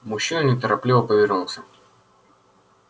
мужчина неторопливо повернулся